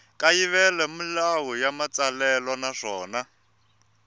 kayivela milawu ya matsalelo naswona